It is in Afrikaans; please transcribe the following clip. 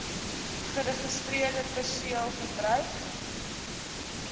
geregistreerde perseel verbruik